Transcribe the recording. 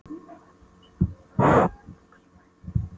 Ég þvæ blússuna úr vaski með Lúx-spænum.